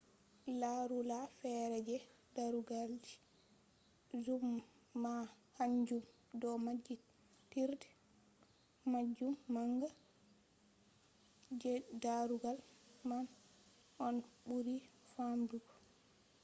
larula feere je darugalji zoom man kanjum do maɓɓitirde majum manga doggudu majum je darugal man on ɓuri famdugo